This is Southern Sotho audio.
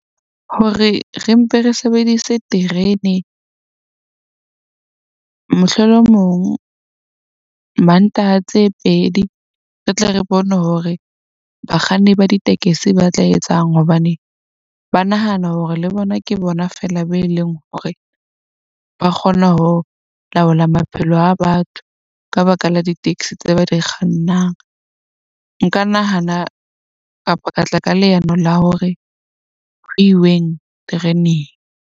Hore re mpe re sebedise terene mohlolomong Mantaha tse pedi. Re tle re bone hore bakganni ba ditekesi ba tla etsang hobane ba nahana hore le bona ke bona feela be leng hore ba kgona ho laola maphelo a batho, ka baka la di-taxi tse ba di kgannang. Nka nahana kapa ka tla ka leano la hore ho iweng tereneng.